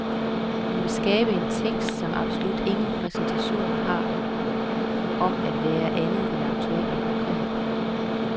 Hun vil skabe en tekst, som absolut ingen prætentioner har om at være andet end aktuel og konkret.